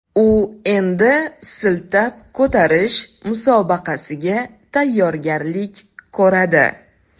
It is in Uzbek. U endi siltab ko‘tarish musobaqasiga tayyorgarlik ko‘radi.